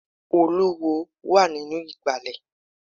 Olúwo wà nínú ìgbàlẹ̀.